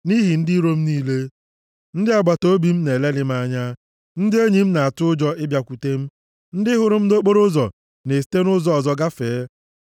Nʼihi ndị iro m niile; ndị agbataobi m na-elelị m anya. Ndị enyi m na-atụ ụjọ ịbịakwute m, ndị hụrụ m nʼokporoụzọ na-esite ụzọ ọzọ gafee.